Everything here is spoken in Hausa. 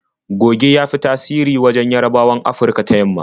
Goge ya fi tasiri a wajen Yarabawan Afurka ta yamma.